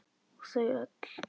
Og þau öll.